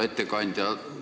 Härra ettekandja!